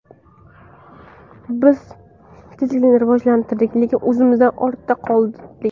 Biz tezlikni rivojlantirdik, lekin o‘zimizdan ortda qoldik.